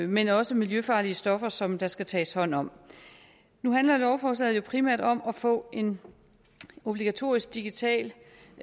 men også miljøfarlige stoffer som der skal tages hånd om nu handler lovforslaget jo primært om at få en obligatorisk digital